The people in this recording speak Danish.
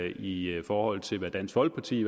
i forhold til hvad dansk folkeparti